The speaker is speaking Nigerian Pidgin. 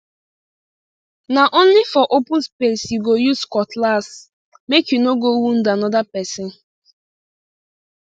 na only for open space you go use cutlassmake you no go wound another person